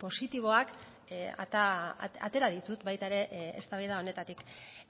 positiboak atera ditut baita ere eztabaida honetatik